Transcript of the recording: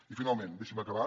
i finalment deixi’m acabar